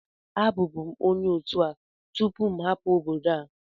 Abụbu m onye otu a tupu m hapụ obodo a